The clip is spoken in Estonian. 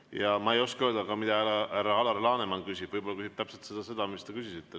Ja ma ei oska öelda, mida härra Alar Laneman küsib, võib-olla ta küsib täpselt seda, mis te küsisite.